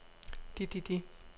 de de de